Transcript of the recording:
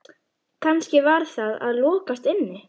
Kannski var það að lokast inni?